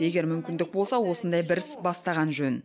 егер мүмкіндік болса осындай бір іс бастаған жөн